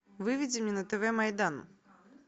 выведи мне на тв майдан